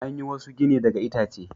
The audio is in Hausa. An yi wasu gini daga itace.